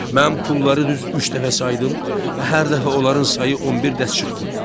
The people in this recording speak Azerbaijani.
Mən pulları düz üç dəfə saydım və hər dəfə onların sayı on bir dəst çıxdı.